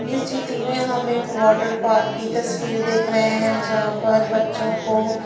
इस चित्र में हम एक वाटर पार्क की तस्वीर देख रहे हैं जहां पर बच्चों को--